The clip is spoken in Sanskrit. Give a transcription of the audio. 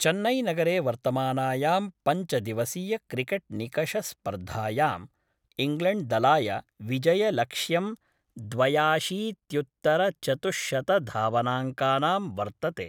चैन्नई नगरे वर्तमानायां पञ्चदिवसीय क्रिकेट निकष स्पर्धायां इंग्लैंड दलाय विजयलक्ष्यं द्वयाशीत्युत्तर चतुश्शतधावनांकानां वर्तते।